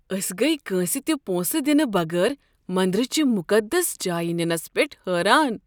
أسۍ گٔیہِ کٲنٛسہ تہ پونٛسہٕ دنہٕ بغٲر مندر چِہ مقدس جایِہ نِنس پٮ۪ٹھ حٲران۔